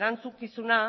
erantzukizuna